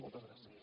moltes gràcies